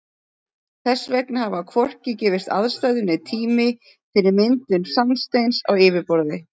Þess vegna hafa hvorki gefist aðstæður né tími fyrir myndun sandsteins á yfirborði.